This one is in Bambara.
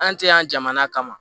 An tɛ yan jamana kama